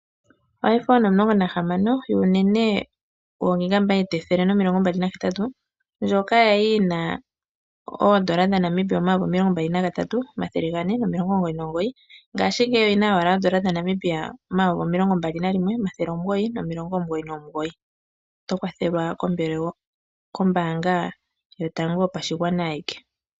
Oiphone 16 yuunene woo 128 GB ndjoka ya li yi na ooN$ 23 499, ngaashingeyi oyi na owala ooN$ 21 999. Oto kwathelwa kombaanga yotango yopashigwana ayike.